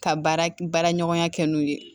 Ka baara baara ɲɔgɔnya kɛ n'u ye